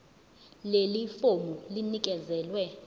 leli fomu linikezelwe